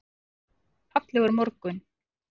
Fallegur morgun!